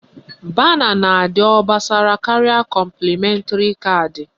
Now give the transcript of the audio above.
Bana na-adị obosara karịa kọmplịmentri caadị